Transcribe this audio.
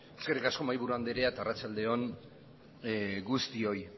eskerrik asko mahaiburu andrea eta arratsalde on guztioi